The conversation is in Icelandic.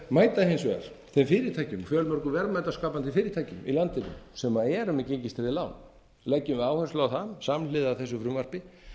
mæta hins vegar þeim fyrirtækjum fjölmörgum verðmætaskapandi fyrirtækjum í landinu sem eru með gengistryggð lán leggjum við áherslu á það samhliða þessu frumvarpi